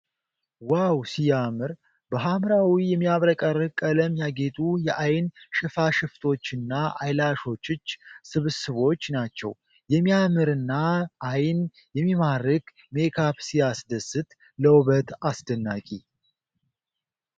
ዋው ሲያምር ! በሐምራዊ የሚያብረቀርቅ ቀለም ያጌጡ የዐይን ሽፋሽፍቶችና አይላሾችች ስብስቦች ናቸው ። የሚያምርና ዓይን የሚማርክ ሜካፕ ሲያስደስት! ለውበት አስደናቂ!